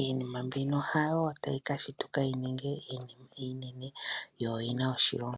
iinima mbino hayo tayi ka shituka yi ninge iinima iinene yo oyi na oshilonga.